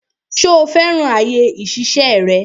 Ṣo fẹ́ràn àyè ìṣiṣẹ́ rẹ?